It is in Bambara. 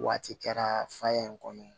Waati kɛra fa ye in kɔnɔ